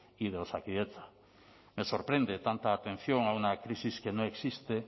y de osakidetza me sorprende tanta atención a una crisis que no existe